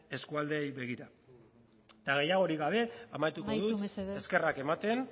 eskualdeei begira eta gehiagorik gabe amaituko dut amaitu mesedez eskerrak ematen